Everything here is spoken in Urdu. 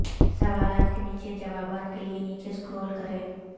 سوالات کے نیچے جوابات کے لئے نیچے سکرال کریں